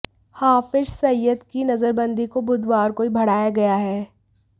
हाफिज सईद की नजरबंदी को बुधवार को ही बढ़ाया गया है